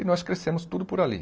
E nós crescemos tudo por ali.